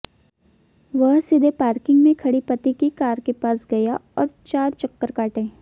वह सीधे पार्किंग में खड़ी पति की कार के पास गया और चार चक्कर काटे